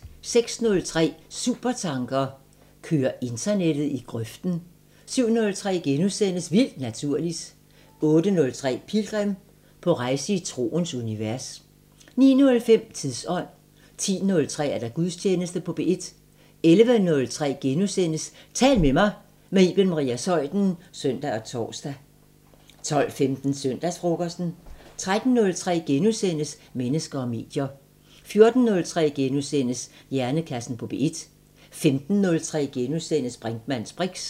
06:03: Supertanker: Kører internettet i grøften? 07:03: Vildt Naturligt * 08:03: Pilgrim – på rejse i troens univers 09:05: Tidsånd 10:03: Gudstjeneste på P1 11:03: Tal til mig – med Iben Maria Zeuthen *(søn og tor) 12:15: Søndagsfrokosten 13:03: Mennesker og medier * 14:03: Hjernekassen på P1 * 15:03: Brinkmanns briks *